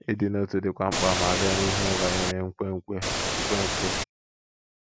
Ịdị n’otu dịkwa mkpa ma a bịa n’ihe banyere nkwenkwe. nkwenkwe.